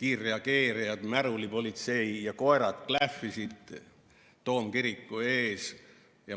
kiirreageerijad ja märulipolitsei olid toomkiriku ees ja koerad klähvisid.